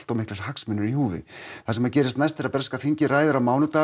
of miklir hagsmunir í húfi það sem gerist næst er að breska þingið ræðir á mánudag